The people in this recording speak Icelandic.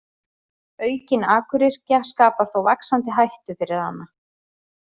Aukin akuryrkja skapar þó vaxandi hættu fyrir hana.